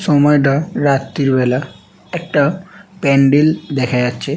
সময়টা রাত্রি বেলা একটা পান্ডেল দেখা যাচ্ছে।